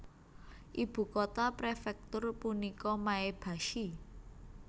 Ibu kota prefektur punika Maebashi